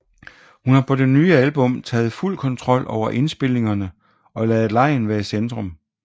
Hun har på det nye album taget fuld kontrol over indspilningerne og ladet legen være i centrum